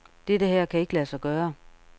Dette her kan ikke lade sig gøre.